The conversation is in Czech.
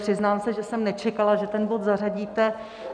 Přiznám se, že jsem nečekala, že ten bod zařadíte.